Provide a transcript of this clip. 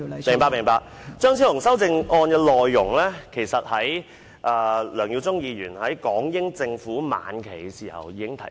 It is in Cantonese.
張超雄議員修正案的內容，其實梁耀忠議員早在港英政府晚期已經提出。